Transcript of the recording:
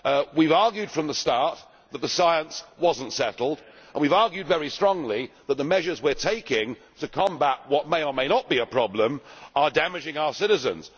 We argued from the start that the science was not settled, and we have argued very strongly that the measures we are taking to combat what may or not be a problem are damaging our citizens.